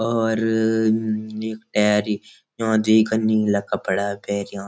और ह ह यख टैर यों दुई का नीला कपड़ा पैर्यां।